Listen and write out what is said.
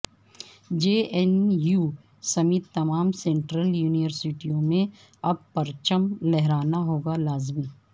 جے N U central تمام سینٹرل یونیورسٹیوں میں اب پرچم لہرانا ہوگا لازمی